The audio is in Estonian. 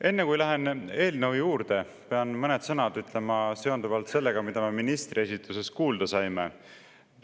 Enne kui lähen eelnõu juurde, pean mõned sõnad ütlema seonduvalt sellega, mida me ministri esituses kuulda saime.